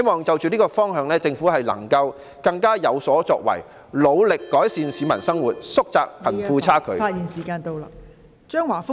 就着這個方向，我希望政府更有所作為，努力改善市民生活，縮窄貧富差距。